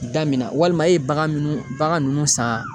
Da min na walima e ye bagan minnu bagan ninnu san